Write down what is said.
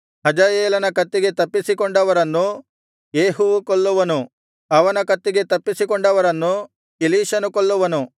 ಹಜಾಯೇಲನ ಕತ್ತಿಗೆ ತಪ್ಪಿಸಿಕೊಂಡವರನ್ನು ಯೇಹುವು ಕೊಲ್ಲುವನು ಅವನ ಕತ್ತಿಗೆ ತಪ್ಪಿಸಿಕೊಂಡವರನ್ನು ಎಲೀಷನು ಕೊಲ್ಲುವನು